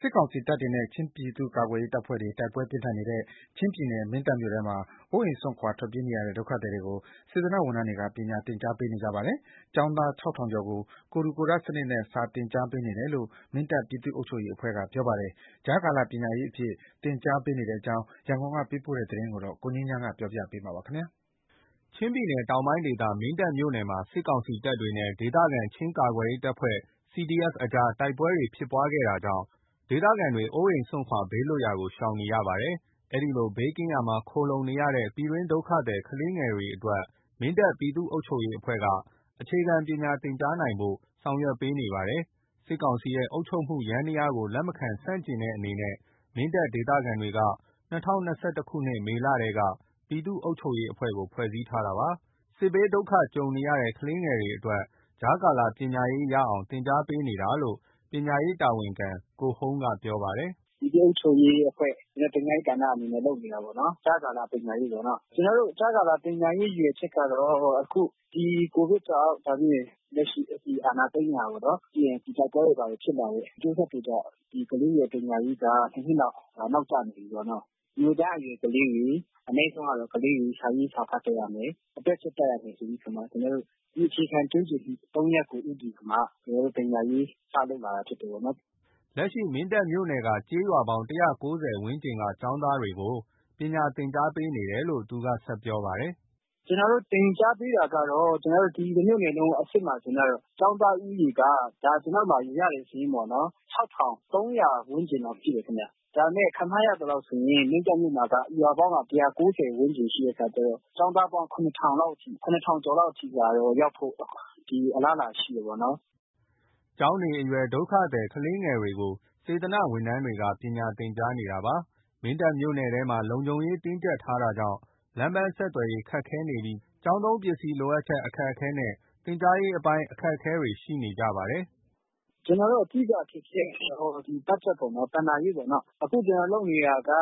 စစ်ကောင်စီတပ်တွေနဲ့ ချင်းပြည်သူ့ကာကွယ်ရေးအဖွဲ့တွေ တိုက်ပွဲတွေ ပြင်းထန်နေတဲ့ ချင်းပြည်နယ် မင်းတပ်မြို့နယ်ထဲမှာ အိုးအိမ်စွန့်ထွက်ပြေးနေရတဲ့ ဒုက္ခသည်လူငယ်တွေကို စေတနာ့ဝန်ထမ်းတွေက ပညာသင်ကြားပေးနေကြပါတယ်။ ကျောင်းသား ၆ ထောင်ကျော်ကို ကိုယ်ထူကိုယ်ထ စနစ်နဲ့ စာသင်ကြားပေးနေတယ်လို့ မင်းတပ် ပြည်သူ့အုပ်ချုပ်ရေးအဖွဲ့က ပြောပါတယ်။ ကြားကာလပညာရေးအဖြစ် သင်ကြားပေးနေကြတဲ့အကြောင်း ရန်ကုန်ကပေးပို့တဲ့သတင်းကို ကိုငြိမ်းချမ်းက ပြောပြပါမယ်။ ချင်းပြည်နယ်တောင်ပိုင်းဒေသ မင်းတပ်မြို့နယ်မှာ စစ်ကောင်စီတပ်နဲ့ ဒေသခံ ချင်းကာကွယ်ရေး CDF အဖွဲ့တွေ တိုက်ပွဲဖြစ်ခဲ့တာကြောင့် အိုးအိမ်စွန့် ဘေးလွတ်ရာသွားနေကြသူတွေ ခုထက်ထိရှိနေပါတယ်။ အဲဒီလို ဘေးကင်းရာမှာခိုလှုံနေကြရတဲ့ ပြည်တွင်းဒုက္ခသည် ကလေးတွေအတွက် မင်းတပ် ပြည်သူ့အုပ်ချုပ်ရေးအဖွဲ့က အခြေခံ ပညာသင်ကြားရေးသင်ကြားနိုင်ဖို့ ဆောင်ရွက်ပေးနေပါတယ်။ စစ်ကောင်စီရဲ့အုပ်ချုပ်မှုယန္တရားကို လက်မခံဆန့်ကျင်တဲ့အနေနဲ့ မင်းတပ်ဒေသခံတွေက ပြည်သူ့အုပ်ချုပ်ရေးအဖွဲ့ကို ၂၀၂၁ ခုနှစ် မေလထဲက ဖွဲ့စည်းထားတာဖြစ်ပါတယ်။ စစ်ဘေးဒုက္ခကြုံနေတဲ့ ကလေးတွေအတွက် ကြားကာလပညာရေးရအောင် သင်ကြားပေးနေတာလို့ ပညာရေးတာဝန်ခံ ကိုဟုမ်းက ပြော ပါတယ်။ “ ပြည်သူ့အုပ်ချုပ်ရေးအဖွဲ့ ပညာရေးကဏ္ဍအနေနဲ့လုပ်နေတာပေါ့နော်။ ကြားကာလပညာရေးပေါ့နော။ ကျွန်တော် တို့ ကြားကာလပညာရေးရည်ရွယ်ချက်ကတော့ အခု ဒီကိုဗစ်ကြောင့် နောက်ပြီး လက်ရှိအာဏာသိမ်းတာပေါ့နော်။ ပြီးရင်တိုက်ပွဲတွေ ဘာတွေဖြစ်လာတဲ့အကျိုးဆက်တွေကြောင့် ကလေးတွေရဲ့ပညာရေးက ဒီနှစ်မှာနောက်ကျနေပြီးနော။ မူလတန်း အရွယ်ကလေးတွေ အနိမ့်ဆုံးကတော့ ကလေးတွေ စာရေးစာဖတ်တတ်ရမယ်။ အတွက်ချက်တတ်ရမယ်ဆိုပြီးတော့မှ ကျွန်တော်တို့ ဒီအခြေခံကျွမ်းကျင်မှု ရပ်ကို ဦးတည်ပြီးမှ ကျွန်တော်တို့ပညာရေးကို စလုပ်လာတာ ဖြစ်တယ် ပေါ့နော်။ ” လက်ရှိ မင်းတပ်မြို့နယ်က ကျေးရွာပေါင်း ဝန်းကျင်က ကျောင်းသားတွေကို ပညာသင်ကြားပေး နေတယ်လို့ သူကဆက်ပြောပါတယ်။ “ကျွန်တော်တို့ သင်ကြားပေးတာကတော့ ကျွန်တော်တို့ ဒီတမြို့နယ်လုံးအဆင့်မှာ သင်ထားတယ်။ ကျောင်းသား ဦးရေက ဒါ ကျွန်တော်တို့ ရတဲ့စာရင်းပေါ့နော်။ ၆၃၀၀ ဝန်းကျင်လောက်ရှိတယ်ခင်ဗျ။ ဒါပေမဲ့ ခန့်မှန်းရသလောက် ဆိုရင် မင်းတပ်မြို့မှာ ရွာပေါင်းက ၁၉၀ ဝန်းကျင်ရှိတဲ့အခါကျတော့ ကျောင်းသားပေါင်း ၇၀၀၀ ကျော်လောက် ရှိပါတယ်။ ရောက်ဖို့ပေါ့ အလားအလာရှိပါတယ်။ ” ကျောင်းနေအရွယ် ဒုက္ခသည်ကလေးတွေကို စေတနာ့ဝန်ထမ်းတွေက ပညာသင်ကြားပေးနေကြတာပါ။ မင်းတပ်မြို့နယ်ထဲမှာ လုံခြုံရေးတင်းကြပ်နေတာကြောင့် လမ်းပန်းဆက်သွယ်ရေးခက်ခဲပြီး ကျောင်းသုံးပစ္စည်းလိုအပ်ချက် အခက်အခဲ သင်ကြားရေးပိုင်းအခက်အခဲတွေရှိနေကြပါတယ်။ “ ကျွန်တော်တို့အဓိကအခက်ခဲကတော့ ဒီဘတ်ဂျက်ပေါ့နော်။ ဘဏ္ဍာရေးပေါ့နော်။ အခုကျွန်တော်လုပ်နေတာက ဘာ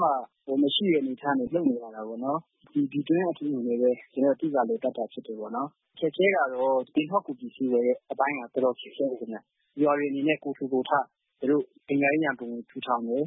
မှမရှိတဲ့ အနေအထားက လုပ်နေတာပေါ့နော်။ ဒီပြည်တွင်းကလူထုတွေနဲ့ဘဲ ကျွန်တော်တို့လည်ပတ် တာဖြစ်တာ ပေါ့နော်။ ခက်ခဲတာတော့ သင်ထောက်ကူပစ္စည်းတွေဝယ်ဖို့ တော်တော်ခက်ခဲတယ်ဗျ။ ရွာတွေအနေနဲ့ကိုယ်ထူ ကိုယ် ထ သူတို့ပညာရေးရန်ပုံငွေထူထောင်တယ်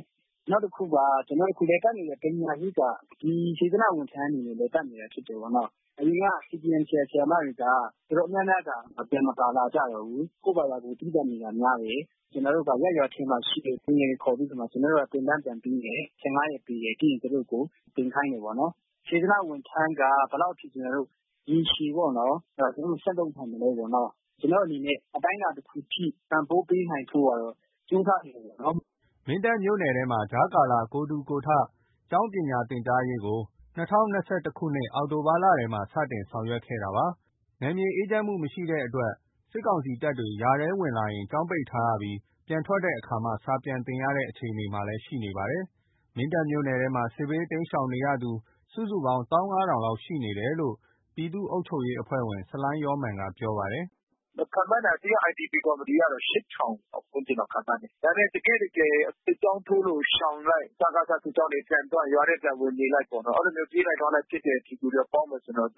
။ နောက်တခုက အခုကျွန်တော်တို့လည်ပတ်နေတဲ့ပညာရေးက ဒီ စေတနာ့ဝန်ထန်းတွေနဲ့လည်ပတ်နေတာပေါ့နော။ အရင်က CDMဆရာဆရာမတွေက တော်တော်များများက ပြန်မပါ လာကြတော့ဘူး။ ကိုယ့်ဘာသာကို သီးသန့်နေတာများတယ်။ ကျွန်တော်တို့ရပ်ရွာထဲမှာရှိတဲ့ လူငယ်တွေကိုခေါ်ပြီး တော့မှ ကျွန်တော်တို့က သင်တန်းပြန်ပေးတယ်။ ရက်ပေးတယ်။ ပြီးရင်သူတို့ကို သင်ခိုင်းတာပေါ့နော်။ စေတနာ ဝန်ထန်းက ဘယ်လောက်အထိကျွန်တော်တို့ ရေရှည်ပေါ့နော်။ အဲဒီတော့သူတို့ဆက်လုပ်နိုင်မလဲပေါ့နော်။ ကျွန်တော် တို့အနေနဲ့အတိုင်းတာတခုအထိ ပံ့ပိုးပေးနိုင်ဖို့ကတော့ ကြိုးစားနေတယ်ပေါ့နော်။” မင်းတပ်မြို့နယ်ထဲမှာ ကြားကာလ ကိုယ်ထူကိုယ်ထ ကျောင်းစာသင်ကြားရေးကို ၂၀၂၁ ခုနှစ် အောက်တိုဘာလမှာထဲက စတင်ခဲ့တာဖြစ်ပါတယ်။ နယ်မြေအေးချမ်းမှုမရှိလို့ စစ်ကောင်စီတပ်က ရွာထဲဝင်လာရင် ကျောင်းပိတ်ထားရပြီး ပြန်ထွက်တဲ့အခါမှ စာပြန်သင်ရတဲ့ အခြေအနေမှာရှိနေပါတယ်။ မင်းတပ်မြို့နယ်ထဲမှာ စစ်ဘေးတိမ်းရှောင်နေရသူ စုစုပေါင်း ၁၅၀၀၀ လောက် ရှိနေတယ်လို့ ပြည်သူ့အုပ်ချုပ်ရေးအဖွဲ့ဝင် ဆလိုင်းယောမာန်က ပြောပါတယ်။ “ ခန့်မှန်းတာ ဒီက IDP ကော်မီတီတွေက ၈၀၀၀ ဝန်းကျင်လောက် ခန့်မှန်းတယ်။ ဒါပေမဲ့ တကယ့်တကယ် စစ်ကြောင်း ထိုးလို့ရှောင်လိုက်၊ စကစစစ်ကြောင်းပြန်သွား၊ ရွာထဲပြန်ဝင်နေလိုက်ပေါ့နော်။ အဲဒီလိုမျိုးပြေးလိုက် လွှားလိုက်သူတွေနဲ့ ပေါင်းမယ်ဆိုရင်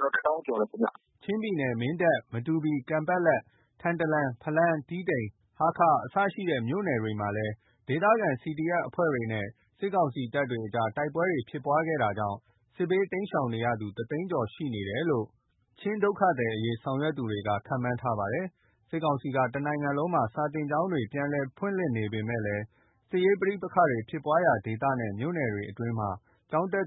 ကျော်မယ်ခင်ဗျ။ ” ချင်းပြည်နယ်၊ မင်းတပ်၊ မတူပီ ၊ကန်ပက်လက်၊ ထန်တလန်၊ ဖလမ်၊း တီးတိန်၊ ဟားခါးအစရှိတဲ့မြို့နယ်တွေမှာလဲ ဒေသခံ CDF အဖွဲ့နဲ့ စစ်ကောင်စီတပ်တို့ တိုက်ပွဲအတွင်း စစ်ဘေးတိမ်းရှောင်နေရသူ တသိန်းကျော်ရှိနေတယ်လို့ ချင်းဒုက္ခသည်အရေး ဆောင်ရွက်သူတွေက ခန့်မှန်းထားပါတယ်။ စစ်ကောင်စီက တစ်နိုင်ငံလုံးမှာ စာသင်ကျောင်းတွေပြန်လည်ဖွင့်လှစ်နေပေမဲ့ စစ်ရေးပဋိပက္ခဖြစ်ပွါးရာဒေသနဲ့ မြို့နယ်တွေအတွင်းမှာ ကျောင်းတက်